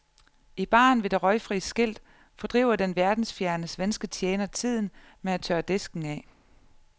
I baren med det røgfri skilt fordriver den verdensfjerne, svenske tjener tiden med at tørre disken af.